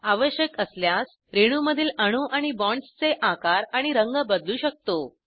आवश्यक असल्यास रेणूमधील अणू आणि बॉन्ड्सचे आकार आणि रंग बदलू शकतो